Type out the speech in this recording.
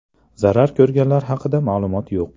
Zarar ko‘rganlar haqida ma’lumot yo‘q.